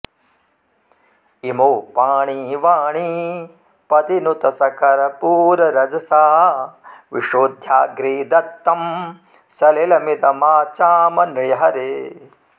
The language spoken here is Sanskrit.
इमौ पाणी वाणीपतिनुत सकर्पूररजसा विशोध्याग्रे दत्तं सलिलमिदमाचाम नृहरे